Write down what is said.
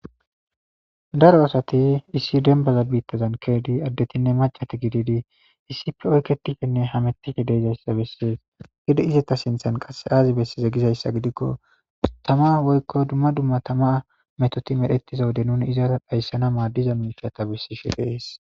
daro asati issi denbaza biittazan kezidi addetinne macati gididi issife oykketifenne hamettihe deezayssa bessies gidi izata sinthan qasse aazi besseze gizayssa gidikko tama woykko dumma dumma tama metoti medhetiza wode nuni izara dhayssana maaddiza mikiya ta bissishe dees.